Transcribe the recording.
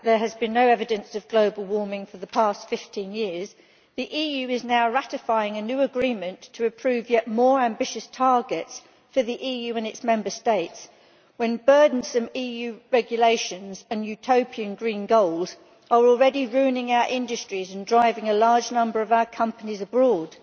Madam President, despite the fact that there has been no evidence of global warming for the past 15 years, the EU is now ratifying a new agreement to approve yet more ambitious targets for the Union and its Member States, when burdensome EU regulations and utopian green goals are already ruining our industries and driving a large number of our companies abroad.